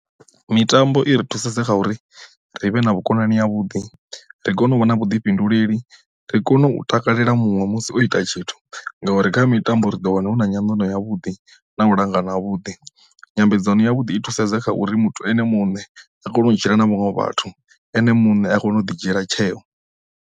Mitambo i ri thusesa kha uri ri vhe na vhukonani ya vhuḓi ri kone u vha na vhuḓifhinduleli ri kone u takalela muṅwe musi o ita tshithu ngauri kha mitambo ri ḓo wana huna nyandano yavhuḓi na u langa na vhuḓi, nyambedzano ya vhuḓi i thusedza kha uri muthu ene muṋe a kone u dzhia na vhaṅwe vhathu ene muṋe a kone u ḓi dzhiela tsheo,